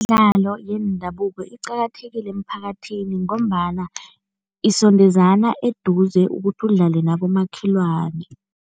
Imidlalo yendabuko iqakathekile emiphakathini ngombana isondezana eduze ukuthi udlale nabomakhelwane.